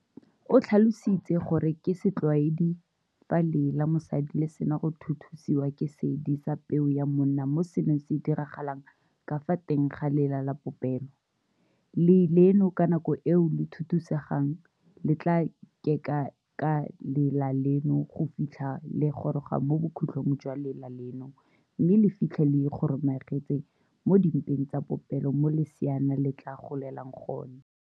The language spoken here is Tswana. O tlhalositse gore ka setlwaedi, fa lee la mosadi le sena go thuthusiwa ke seedi sa peo ya monna mo seno se diragalang ka fa teng ga lela la popelo, lee leno ka nako eo le thuthusegang le tla keka ka lela leno go fitlha le goroga mo bokhutlhong jwa lela leno mme le fitlhe le ikgomaretse mo dimpeng tsa popelo mo leseana le tla golelang gone.